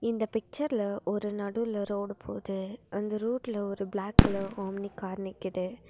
இந்த பிக்சர்ல ஒரு நடுவுல ரோடு போது அந்த ரோட்ல ஒரு பிளாக் கலர் ஆம்னி கார் நிக்கிது.